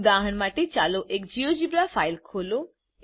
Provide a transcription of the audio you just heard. ઉદાહરણ માટે ચાલો પહેલા એક જીઓજીબ્રા ફાઈલ ખોલો